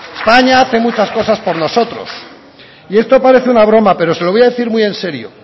españa hace muchas cosas por nosotros y esto parece una broma pero se lo voy a decir muy en serio